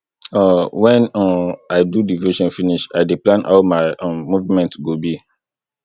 um wen um i do devotion finish i dey plan how my um movement go be